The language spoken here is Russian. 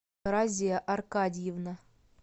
разия аркадьевна